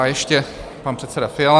A ještě pan předseda Fiala.